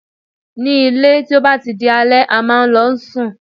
Ní ilé, tí ó bá ti di alẹ́, a máa ń lọ sùn.